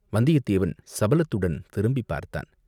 வந்தியத்தேவன் சபலத்துடன் திரும்பிப் பார்த்தான்.